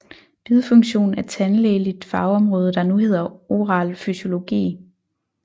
Bidfunktion er tandlægeligt fagområde der nu hedder oral fysiologi